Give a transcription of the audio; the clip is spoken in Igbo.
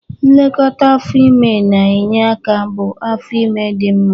Nlekọta afọ ime na-enye aka hụ afo ime dị mma.